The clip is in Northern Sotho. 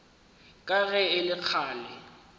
ka ge e le kgale